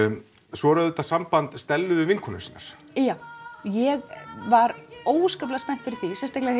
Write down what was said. svo er það samband Stellu við vinkonur sínar já ég var óskaplega spennt fyrir því sérstaklega